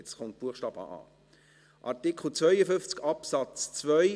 Jetzt kommt Artikel 52 Absatz 2